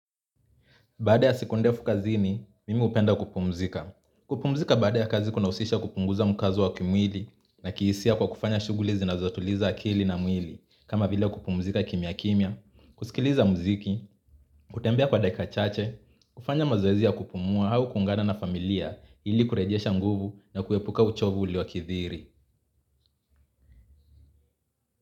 Baada ya siku ndefu kazini, mimi hupenda kupumzika. Kupumzika baada ya kazi kunahusisha kupunguza mkazo wa kimwili na kihisia. Kwa kufanya shughuli zinazotuliza akili na mwili. Kama vile kupumzika kimya kimya, kusikiliza muziki, kutembea kwa dakika chache, kufanya mazoezi ya kupumua au kuungana na familia ili kurejesha nguvu na kuepuka uchovu uliokithiri.